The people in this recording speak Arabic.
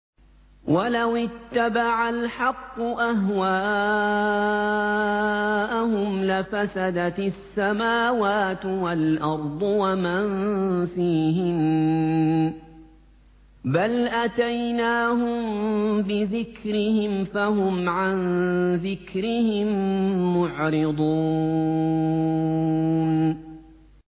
وَلَوِ اتَّبَعَ الْحَقُّ أَهْوَاءَهُمْ لَفَسَدَتِ السَّمَاوَاتُ وَالْأَرْضُ وَمَن فِيهِنَّ ۚ بَلْ أَتَيْنَاهُم بِذِكْرِهِمْ فَهُمْ عَن ذِكْرِهِم مُّعْرِضُونَ